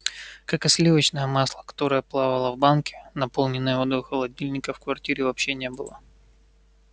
как и сливочное масло которое плавало в банке наполненной водой холодильника в квартире вообще не было